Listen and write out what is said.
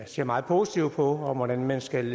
ser meget positivt på om hvordan man skal